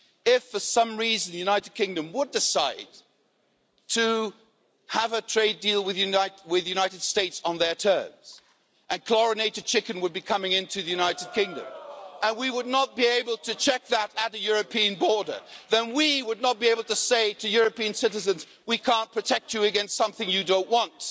If for some reason the United Kingdom would decide to have a trade deal with the United States on their terms and chlorinated chicken would be coming into the United Kingdom and we would not be able to check that at the European border, then we would not be able to say to European citizens that we could protect them against something they didn't want.